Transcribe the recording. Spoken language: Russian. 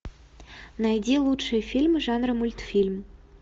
найди лучшие фильмы жанра мультфильм